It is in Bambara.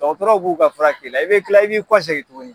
Dɔgɔtɔrɔw k'u ka fura k'i la i bɛ kila i b'i kɔsegin tuguni.